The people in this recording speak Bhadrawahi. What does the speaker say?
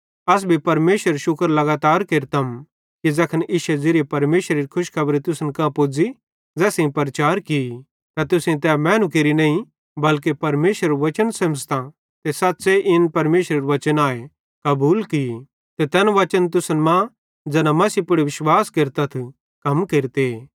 अस भी परमेशरेरू शुक्र लगातार केरतम कि ज़ैखन इश्शे ज़िरीये परमेशरेरी खुशखबरी तुसन कां पुज़ी ज़ै असेईं प्रचार की त तुसेईं तै मैनू केरि नईं बल्के परमेशरेरू वचन सेमझ़तां ते सच़्च़े इन परमेशरेरू वचन आए कबूल की ते तै वचन तुसन मां ज़ैना मसीह पुड़ विश्वास केरतथ कम केरते